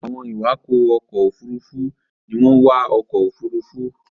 Àwọn iwakọ ọkọ òfurufú ní wón wá ọkọ òfurufú